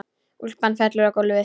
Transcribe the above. Úlpan fellur á gólfið.